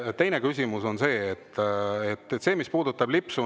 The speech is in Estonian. Teine küsimus on see, mis puudutab lipsu.